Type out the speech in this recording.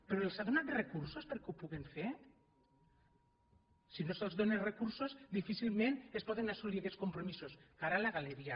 però ja els ha donat recursos perquè ho pu·guin fer si no se’ls dóna recursos difícilment es poden assolir aquests compromisos cara a la galeria